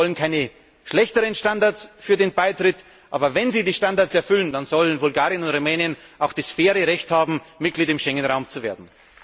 Wir wollen keine schlechteren Standards für den Beitritt, aber wenn sie die Standards erfüllen, dann sollen Bulgarien und Rumänien auch fairerweise das Recht haben, Mitglied im Schengenraum zu werden.